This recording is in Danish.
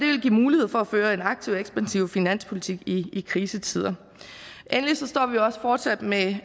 vil give mulighed for at føre en aktiv og ekspansiv finanspolitik i krisetider endelig står vi også fortsat med